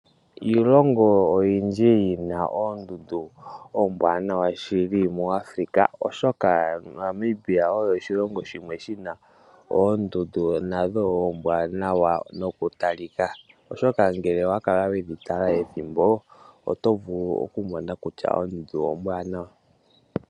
Iilongo oyindji yina oondundu ombwaanawa muAfrica. Namibia oshilongo shina oondundu nadho oombwanawa nokutalika, oshoka ngele owakala wedhi tala ethimbo oto vulu okumona kutya ondundu ombwanawa.